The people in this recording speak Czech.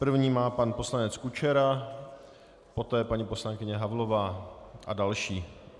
První má pan poslanec Kučera, poté paní poslankyně Havlová a další.